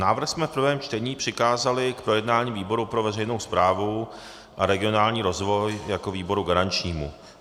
Návrh jsme v prvém čtení přikázali k projednání výboru pro veřejnou správu a regionální rozvoj jako výboru garančnímu.